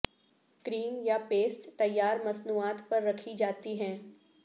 کریم یا پیسٹ تیار مصنوعات پر رکھی جاتی ہیں